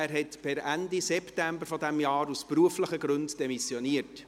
Er hat per Ende September dieses Jahrs aus beruflichen Gründen demissioniert.